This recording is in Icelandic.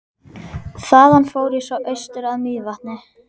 Þaðan fór ég svo austur að Mývatni.